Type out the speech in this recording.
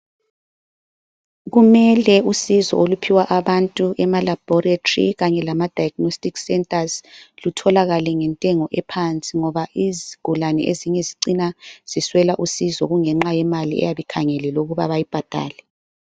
Kumele usizo oluphiwa abantu ema Laboratory kanye lama Diagnostic centers lutholakale ngentengo ephansi ngoba izigulane ezinye zicina ziswela usizo kungenxa yemali eyabikhangelelwe ukuba beyibhadale.